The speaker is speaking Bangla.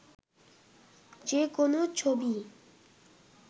যে কোনো ছবিই